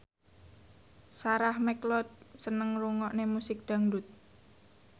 Sarah McLeod seneng ngrungokne musik dangdut